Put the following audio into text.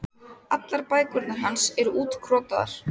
Allar bækurnar hans eru útkrotaðar.